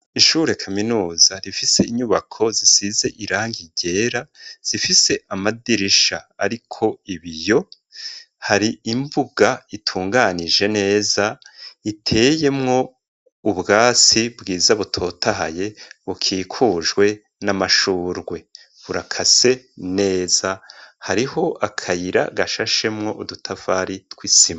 Ishure kaminuza risize irangi ryera rifise amadirisha ariko ibiyo hari imbuga utunganije neza iteyemwo ubwatsi bwiza butotahaye bukikujwe n'amashurwe burakase neza hariho akayira gashashemwo udutafari tw'isima.